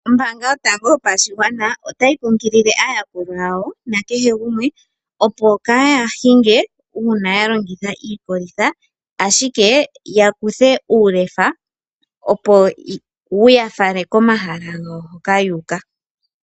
Ombaanga yotango yopashigwana otayi kunkilile aayakulwa yawo opo kaaya hinge uuna ya longitha iikolitha ihe ya longithe uulefa opo wu yafalwe komahala hoka yuuka